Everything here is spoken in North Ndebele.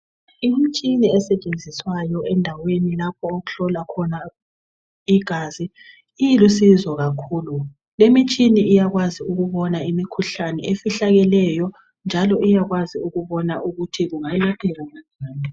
Imitshina esetshenziswayo endaweni lapho okuhlolwa khona igazi ilusizo kakhulu limitshini iyakwazi ukubona imikhuhlane efihlakeleyo njalo iyakwazi ukubona ukuthi kungalapheka.